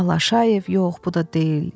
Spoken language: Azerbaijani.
Allaşayev, yox, bu da deyil.